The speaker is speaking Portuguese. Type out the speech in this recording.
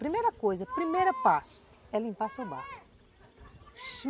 Primeira coisa, primeiro passo é limpar seu barco.